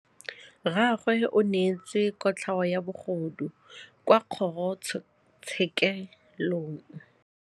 Rragwe o neetswe kotlhaô ya bogodu kwa kgoro tshêkêlông.